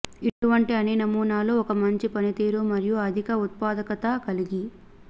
ఇటువంటి అన్ని నమూనాలు ఒక మంచి పనితీరు మరియు అధిక ఉత్పాదకత కలిగి